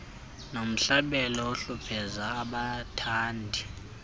nomhlabelo ohlupheza abathandi